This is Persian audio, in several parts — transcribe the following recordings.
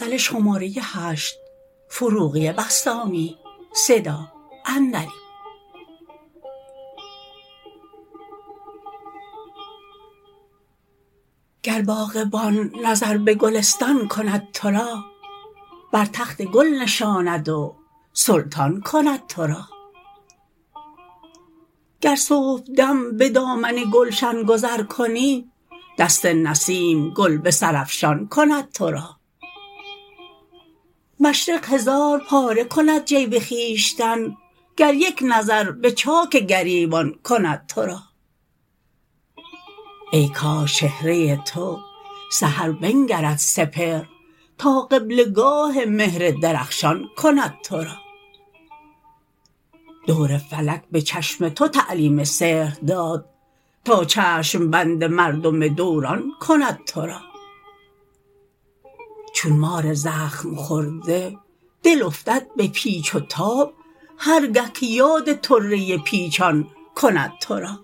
گر باغبان نظر به گلستان کند تو را بر تخت گل نشاند و سلطان کند تو را گر صبح دم به دامن گلشن گذر کنی دست نسیم گل به سر افشان کند تو را مشرق هزار پاره کند جیب خویشتن گر یک نظر به چاک گریبان کند تو را ای کاش چهره تو سحر بنگرد سپهر تا قبله گاه مهر درخشان کند تو را دور فلک به چشم تو تعلیم سحر داد تا چشم بند مردم دوران کند تو را چون مار زخم خورده دل افتد به پیچ و تاب هرگه که یاد طره پیچان کند تو را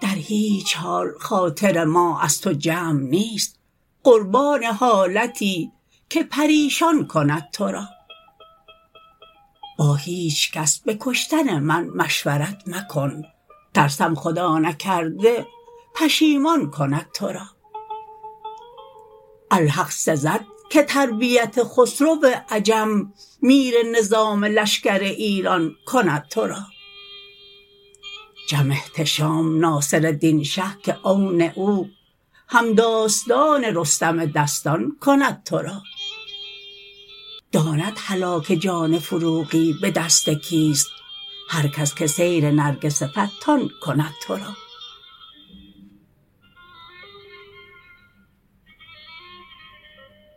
در هیچ حال خاطر ما از تو جمع نیست قربان حالتی که پریشان کند تو را با هیچ کس به کشتن من مشورت مکن ترسم خدا نکرده پشیمان کند تو را الحق سزد که تربیت خسرو عجم میر نظام لشکر ایران کند تو را جم احتشام ناصرالدین شه که عون او هم داستان رستم دستان کند تو را داند هلاک جان فروغی به دست کیست هر کس که سیر نرگس فتان کند تو را